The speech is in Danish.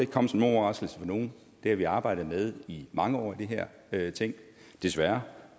komme som nogen overraskelse for nogen det har vi arbejdet med i mange år i det her ting desværre